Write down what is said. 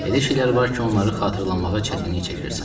Elə şeylər var ki, onları xatırlamağa çətinlik çəkirsən.